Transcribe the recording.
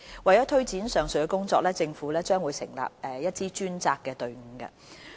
為推展上述的工作，政府將成立一支專責隊伍。